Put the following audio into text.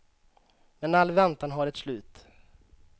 Men all väntan har ett slut.